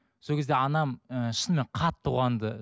сол кезде анам ыыы шынымен қатты қуанды